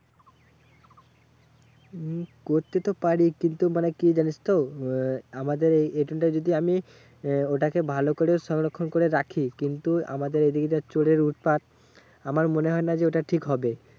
উম করতে তো পারি কিন্তু মানে কি জানিস তো? আহ আমাদের এইখানটা যদি আমি আহ ওটাকে ভালো করে সংরক্ষণ করে রাখি কিন্তু আমাদের এদিকে যা চোরের উৎপাত। আমার মনে হয়না যে ওটা ঠিক হবে।